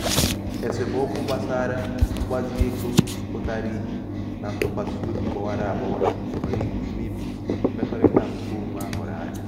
esemokwu gbasara mgbazi ego pụtara ihe na ntụkwasị obi gbawara agbawa nwere ike imebi mmekọrịta nke onwe a hụrụ anya.